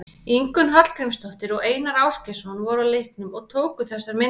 Ingunn Hallgrímsdóttir og Einar Ásgeirsson voru á leiknum og tóku þessar myndir.